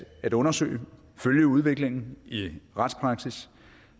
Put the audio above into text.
at undersøge og følge udviklingen i retspraksis